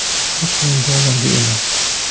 Qirq ming dollarga emas.